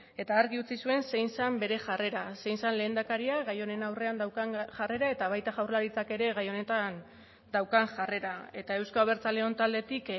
eta argi utzi zuen zein zen bere jarrera zein zen lehendakaria gai honen aurrean daukan jarrera eta baita jaurlaritzak ere gai honetan daukan jarrera eta euzko abertzaleon taldetik